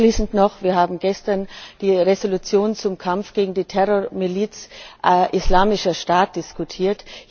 Abschließend noch Wir haben gestern die Entschließung zum Kampf gegen die Terrormiliz Islamischer Staat diskutiert.